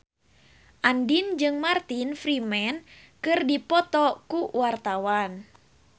Andien jeung Martin Freeman keur dipoto ku wartawan